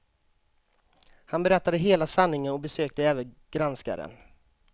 Han berättade hela sanningen och besökte även granskaren.